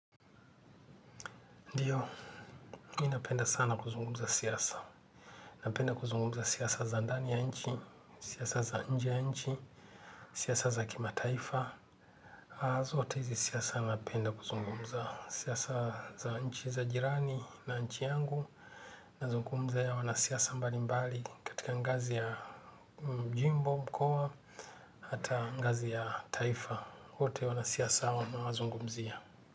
Ndiyo, mi napenda sana kuzungumza siasa. Napenda kuzungumza siasa za ndani ya nchi, siasa za nje ya nchi, siasa za kima taifa. Zote hizi siasa napenda kuzungumza siasa za nchi za jirani na nchi yangu. Nazungumza ya wana siasa mbali mbali katika ngazi ya jimbo mkoa, hata ngazi ya taifa. Wote wanasiasa hawa wamewazungumzia.